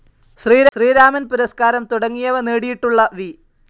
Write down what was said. ശ്രീരാമൻ പുരസ്കാരം തുടങ്ങിയവ നേടിയിട്ടുള്ള വി.